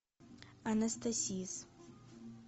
анастасис